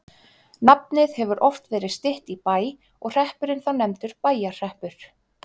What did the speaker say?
nafnið hefur oft verið stytt í bæ og hreppurinn þá nefndur bæjarhreppur